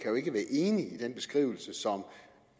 enig i den beskrivelse som